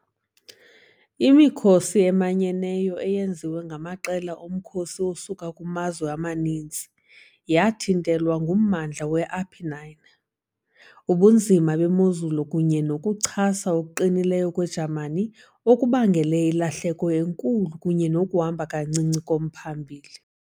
Imikhosi eManyeneyo, eyenziwe ngamaqela omkhosi asuka kumazwe amaninzi, yathintelwa ngummandla we-Apennine, ubunzima bemozulu kunye nokuchasa okuqinileyo kweJamani okubangele ilahleko enkulu kunye nokuhamba kancinci komphambili.